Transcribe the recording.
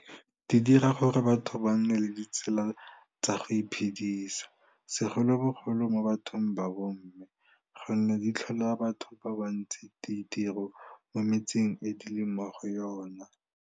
Di dira gore batho ba nne le ditsela tsa go iphedisa, segolobogolo mo bathong ba bomme, gonne di tlholela batho ba bantsi ditiro mo metseng e di leng mo go yona.